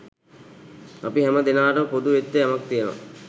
අපි හැම දෙනාට පොදු වෙච්ච යමක් තියෙනවා